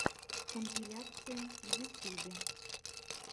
компиляции в ютюбе